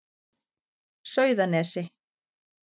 Sauðanesi